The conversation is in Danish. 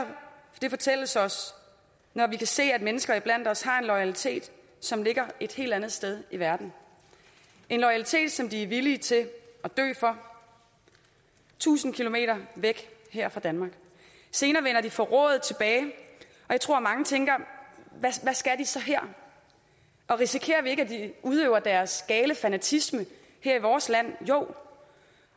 det fortælles os når vi kan se at mennesker iblandt os har en loyalitet som ligger et helt andet sted i verden en loyalitet som de er villige til at dø for tusind kilometer væk her fra danmark senere vender de forrået tilbage og jeg tror mange tænker hvad skal de så her risikerer vi ikke at de udøver deres gale fanatisme her i vores land jo